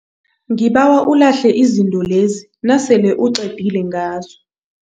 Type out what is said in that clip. Ngibawa ulahle izinto lezi nasele uqedile ngazo.